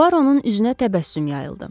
Puaroun üzünə təbəssüm yayıldı.